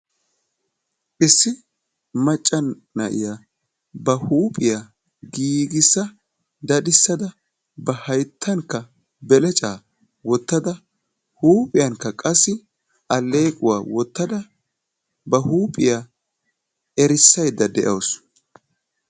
issi macca na'iyaa ba huuphiyaa giigissa daddissada ha hayttankka belecca wottada huuphiyaankka qassi aleequwaa wottada ba huuphita erissaydda de'awusu.